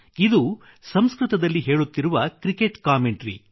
ಇದು ಸಂಸ್ಕೃತದಲ್ಲಿ ಹೇಳುತ್ತಿರುವ ಕ್ರಿಕೆಟ್ ಕಾಮೆಂಟ್ರಿ